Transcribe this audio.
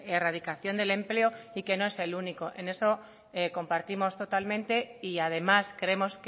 erradicación del empleo y que no es el único en eso compartimos totalmente y además creemos